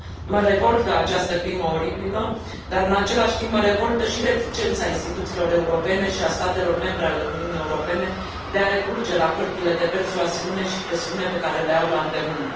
Mă revoltă această crimă oribilă, dar în același timp mă revoltă și reticența instituțiilor europene și a statelor membre ale Uniunii Europene de a recurge la pârghiile de persuasiune și presiune pe care le au la îndemână.